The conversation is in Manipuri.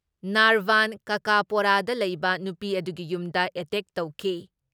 ꯅꯥꯔꯕꯥꯟ ꯀꯥꯀꯥꯄꯣꯔꯥꯗ ꯂꯩꯕ ꯅꯨꯄꯤ ꯑꯗꯨꯒꯤ ꯌꯨꯝꯗ ꯑꯦꯇꯦꯛ ꯇꯧꯈꯤ ꯫